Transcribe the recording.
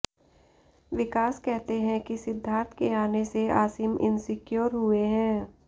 विकास कहते हैं कि सिद्धार्थ के आने से आसिम इनसिक्योर हुए हैं